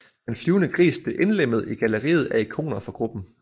Den flyvende gris blev indlemmet i galleriet af ikoner for gruppen